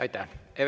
Aitäh!